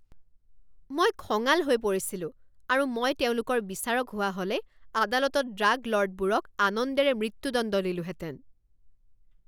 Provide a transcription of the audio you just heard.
মই খঙাল হৈ পৰিছিলো আৰু মই তেওঁলোকৰ বিচাৰক হোৱা হ'লে আদালতত ড্ৰাগ ল'ৰ্ডবোৰক আনন্দেৰে মৃত্যুদণ্ড দিলোহেঁতেন।